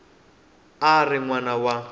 a ri n wana wa